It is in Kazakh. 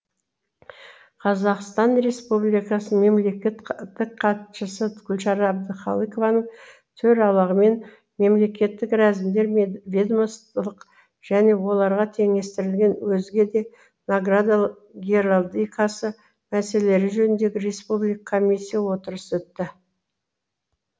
қазақстан республикасы мемлекеттік хатшысы гүлшара әбдіқалықованың төрағалығымен мемлекеттік рәзімдер мен ведомстволық және оларға теңестірілген өзге де награда геральдикасы мәселелері жөніндегі республика комиссия отырысы өтті